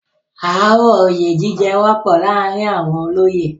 ááwọ̀ oyè jíjẹ wọ́pọ̀ láàrin àwọn olóyè.